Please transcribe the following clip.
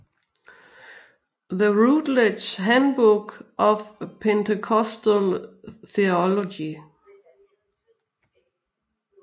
The Routledge Handbook of Pentecostal Theology